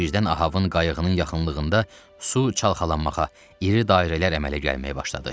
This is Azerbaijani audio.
Birdən Ahabın qayığının yaxınlığında su çalxalanmağa, iri dairələr əmələ gəlməyə başladı.